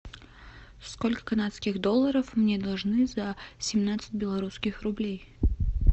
сколько канадских долларов мне должны за семнадцать белорусских рублей